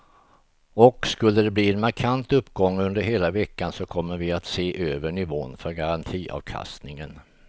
Och skulle de bli en markant uppgång under hela veckan så kommer vi att se över nivån för garantiavkastningen.